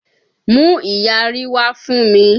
Mú ìyarí wá fún mi!